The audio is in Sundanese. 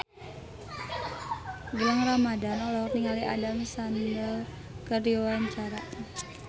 Gilang Ramadan olohok ningali Adam Sandler keur diwawancara